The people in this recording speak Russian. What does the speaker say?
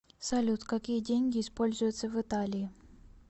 салют какие деньги используются в италии